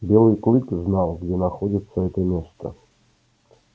белый клык знал где находится это место